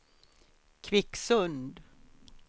Kvicksund